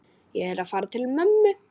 Ég er að fara til mömmu.